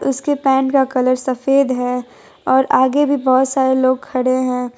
उसके पैन्ट का कलर सफेद है और आगे भी बहोत सारे लोग खड़े है।